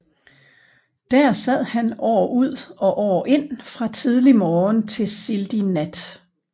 Der sad han år ud og år ind fra tidlig morgen til sildig nat